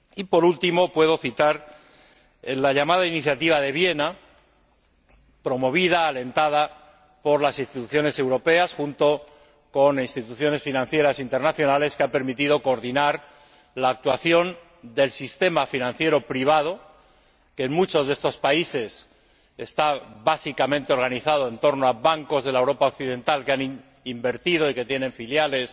Por último, puedo citar la llamada Iniciativa de Viena, promovida, alentada por las Instituciones europeas, junto con instituciones financieras internacionales, que ha permitido coordinar la actuación del sistema financiero privado que, en muchos de estos países está básicamente organizado en torno a bancos de Europa Occidental que han invertido y que tienen filiales